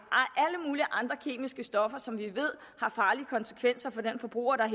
det stoffer som vi ved har farlige konsekvenser for den forbruger der